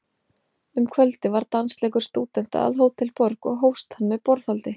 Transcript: Um kvöldið var dansleikur stúdenta að Hótel Borg, og hófst hann með borðhaldi.